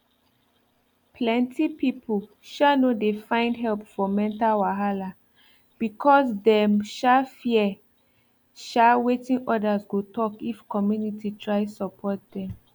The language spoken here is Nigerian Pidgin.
plenty people um no dey find help for mental wahala because dem um fear um wetin others go talk if community try support dem